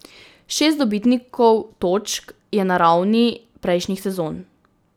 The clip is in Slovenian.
Šest dobitnikov točk je na ravni prejšnjih sezon.